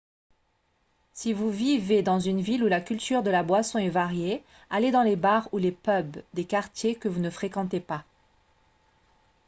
si vous vivez dans une ville où la culture de la boisson est variée allez dans les bars ou les pubs des quartiers que vous ne fréquentez pas